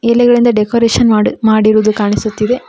ಎಲೆಗಳಿಂದ ಡೆಕೋರೇಷನ್ ಮಾಡಿ ಮಾಡಿರುವುದು ಕಾಣಿಸುತ್ತಿದೆ.